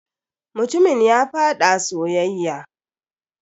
Mutumin ya faɗa soyayya.